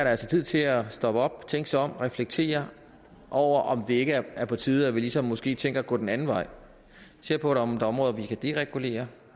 altså tid til at stoppe op tænke sig om og reflektere over om det ikke er på tide at vi ligesom måske tænker at gå den anden vej og se på om der er områder vi kan deregulere